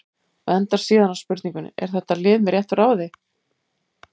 Og endar síðan á spurningunni: Er þetta lið með réttu ráði?